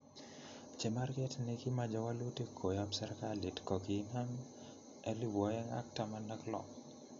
Chemarget negimache wolutik koyop serkalit ko kiinam 2016